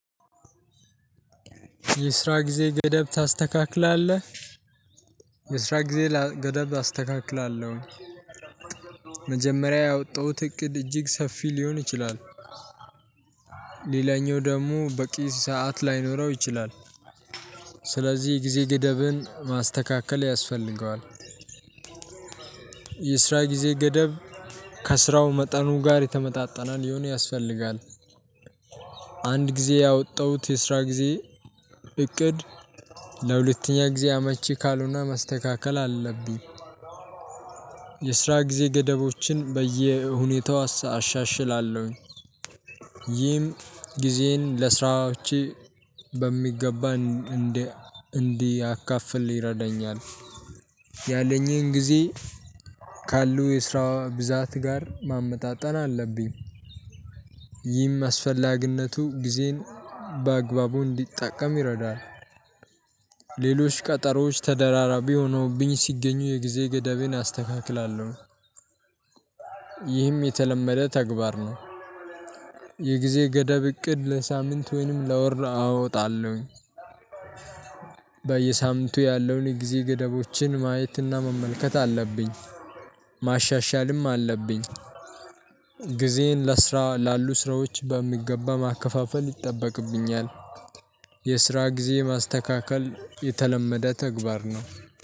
የስራ ጊዜ ገደብ ታስተካክላለህ? የስራ ጊዜ ገደብ አስተካክላለሁ። መጀመሪያ ያወጣሁት እቅድ እጅግ ሰፊ ሊሆን ይችላል። ሌላኛው ደግሞ በቂ ሰዓት ላይኖረው ይችላል። ስለዚህ ጊዜ ገደብን ማስተካከል ያስፈልገዋል። የስራ ጊዜ ገደብ ከስራው መጠኑ ጋር የተመጣጠነ ሊሆን ያስፈልጋል። አንድ ጊዜ ያወጣሁት የስራ ጊዜ እቅድ ለሁለተኛ ጊዜ አመቺ ካልሆነ መስተካከል አለብኝ። የስራ ጊዜ ገደቦችን በየሁኔታው አሻሽላለሁኝ። ይህም ጊዜን ለስራዎቼ በሚገባ እንዳካፍል ይረዳኛል። ያለኝን ጊዜ ካሉ የስራ ብዛት ጋር ማመጣጠን አለብኝ። ይህም አስፈላጊነቱ ጊዜን በአግባቡ እንዲጠቀም ይረዳል። ሌሎች ቀጠሮዎች ተደራራቢ ሆኖብኝ ሲገኙ የጊዜ ገዳቤን አስተካክላለሁ። ይህም የተለመደ ተግባር ነው። የጊዜ ገደብ እቅድ ለሳምንት ወይንም ለወር አወጣለሁኝ። በየሳምንቱ ያለውን የጊዜ ገደቦችን ማየትና መመልከት አለብኝ። ማሻሻልም አለብኝ። ጊዜን ለስራ ላሉ ስራዎች በሚገባ ማከፋፈል ይጠበቅብኛል። የስራ ጊዜ ማስተካከል የተለመደ ተግባር ነው።